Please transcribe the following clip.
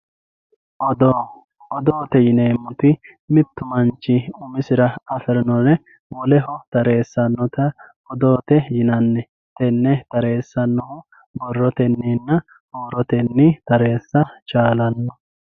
odoo odoote yineemmoti mittu manchi umisira afirinore woleho tareessannota odoote yinanni tenne tareessannoho borrotenninna huurotenni tareessa chaalanno